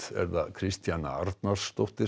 Kristjana Arnarsdóttir